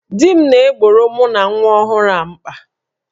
Di m na-egboro mụ na nwa ọhụrụ a mkpa